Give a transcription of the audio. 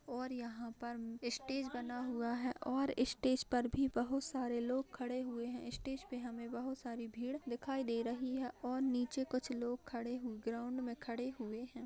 और यहाँ पर ईस्टेज बना हुआ है और स्टेज पर भी बहुत सारे लोग खड़े हुए हैं। स्टेज पे हमें बहुत सारी भीड़ दिखाई दे रही है और नीचे कुछ लोग खड़े हैं ग्राउंड मे खड़े हुए हैं।